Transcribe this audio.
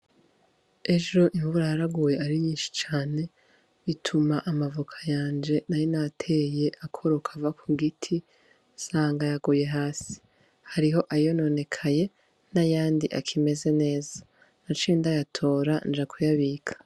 Ejo imvura yaraguye ari nyinshi cane bituma amavoka yanje nari nateye akoroka ava ku giti nsanga yaguye hasi, hariho ayononekaye nayandi akimeze neza, naciye ndayatora nja kuyabika.